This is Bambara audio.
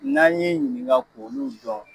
N'an y'i ɲininka k'olu dɔn